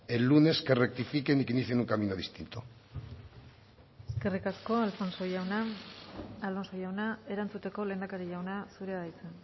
el lunes que rectifiquen y que utilicen un camino distinto eskerrik asko alonso jauna erantzuteko lehendakari jauna zurea da hitza